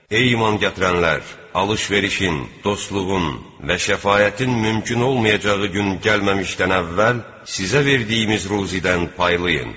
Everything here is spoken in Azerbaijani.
Ey iman gətirənlər, alış-verişin, dostluğun və şəfaətin mümkün olmayacağı gün gəlməmişdən əvvəl sizə verdiyimiz ruzidən paylayın.